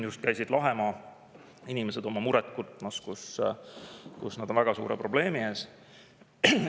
Just käisid Lahemaa inimesed oma muret kurtmas, sest nad on väga suure probleemi ees.